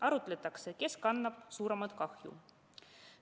Arutletakse, kes kannab suuremat kahju.